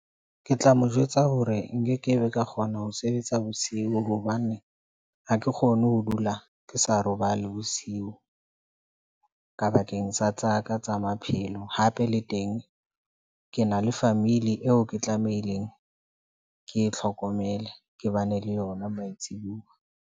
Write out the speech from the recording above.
Ke tla mo jwetsa hore nkekebe ka kgona ho sebetsa bosiu hobane ha ke kgone ho dula ke sa robale bosiu. Ka bakeng sa tsa ka tsa maphelo sa hape le teng ke na le family eo ke tlamehileng ke e tlhokomele ke bane le yona matsibuwa.